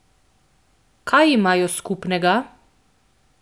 Kaj imajo skupnega?